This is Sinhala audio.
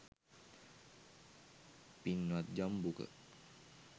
පින්වත් ජම්බුක,